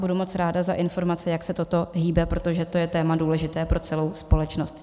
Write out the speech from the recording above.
Budu moc ráda za informaci, jak se to hýbe, protože to je téma důležité pro celou společnost.